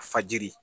Fajiri